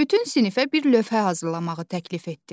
Bütün sinifə bir lövhə hazırlamağı təklif etdim.